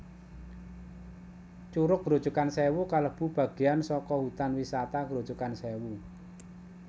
Curug Grojogan Sewu kalebu bageyan saka Hutan Wisata Grojogan Sèwu